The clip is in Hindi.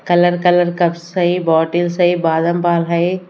कलर कलर कप्स है बॉटल्स है बादाम पाल है।